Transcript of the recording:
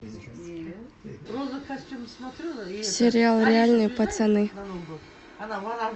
сериал реальные пацаны